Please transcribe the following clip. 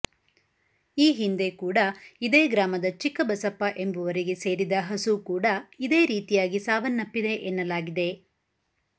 ಈ ಹಿಂದೆ ಕೂಡ ಇದೇ ಗ್ರಾಮದ ಚಿಕ್ಕಬಸಪ್ಪ ಎಂಬುವರಿಗೆ ಸೇರಿದ ಹಸು ಕೂಡ ಇದೇ ರೀತಿಯಾಗಿ ಸಾವನ್ನಪ್ಪಿದೆ ಎನ್ನಲಾಗಿದೆ